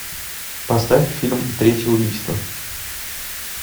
поставь фильм третье убийство